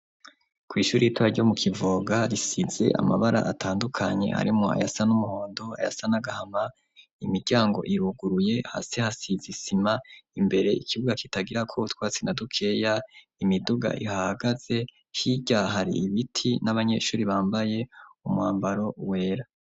Kw'ishuri ritora ryo mu Kivoga risitse amabara atandukanye arimo ayasa n'umuhondo, ayasa n' agahama, imiryango ibuguruye hasi hasize isima, imbere ikibuga kitagirako twatsi na dukeya, imiduga ihagaze, hirya hari ibiti n'abanyeshuri bambaye umwambaro wera.